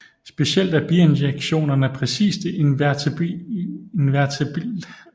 Specielt er bijektionerne præcis de invertible afbildninger